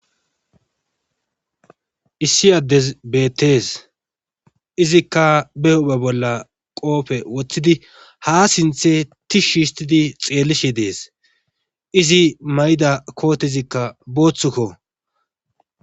Iss adez betes, izika be hu'iza bolla qope wothid ha sinthe tishi histid xelishe Des, izi mayida kootezika boothuko.